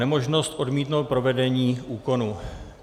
Nemožnost odmítnout provedení úkonu.